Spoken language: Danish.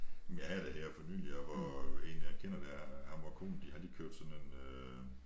Men jeg havde da her for nyligt også hvor en jeg kender der ham og konen de har lige købt sådan en øh